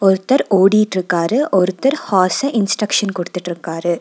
ஒர்தர் ஓடிட்ருக்காரு ஒர்தர் horse instruction குடுத்துட்ருக்காரு.